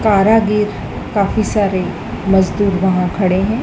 कारागिर काफी सारे मजदूर वाह खड़े हैं।